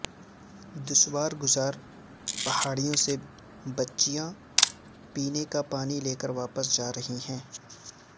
دشوار گزار پہاڑیوں سے بچیاں پینے کا پانی لے کر واپس جا رہی ہیں